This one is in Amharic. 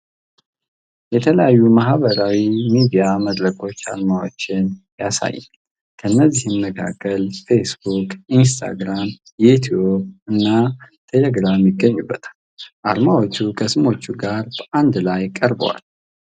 የተለያዩ የማህበራዊ ሚዲያ መድረኮች አርማዎችን ያሳያል፤ ከእነዚህም መካከል ፌስቡክ፣ ኢንስታግራም፣ ዩቲዩብ እና ቴሌግራም ይገኙበታል። አርማዎቹ ከስሞቻቸው ጋር በአንድ ላይ ቀርበዋል።